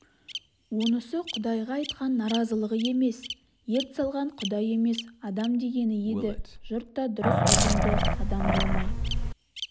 онысы құдайға айтқан наразылығы емес ерт салған құдай емес адам дегені еді жұрт та дұрыс ұғынды адам болмай